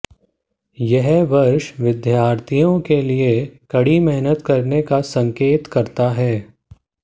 यह वर्ष विद्यार्थियों के लिए कड़ी मेहनत करने का संकेत करता है